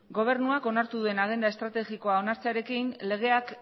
gobernuak onartu duen agenda estrategikoa onartzearekin legeak